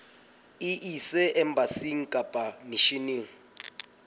e ise embasing kapa misheneng